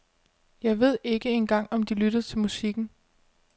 Jeg ved ikke engang om de lytter til musikken.